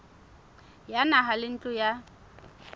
ya naha le ntlo ya